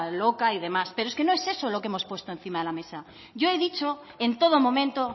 loca y demás pero es que no es eso lo que hemos puesto encima de la mesa yo he dicho en todo momento